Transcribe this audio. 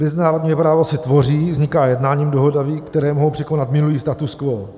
Mezinárodní právo se tvoří, vzniká jednáním, dohodami, které mohou překonat minulý status quo.